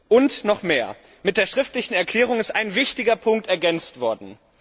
Und noch mehr Mit der schriftlichen Erklärung ist ein wichtiger Punkt ergänzt worden.